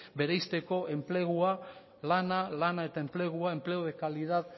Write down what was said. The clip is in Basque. bereizteko enplegua lana lana eta enplegua empleo de calidad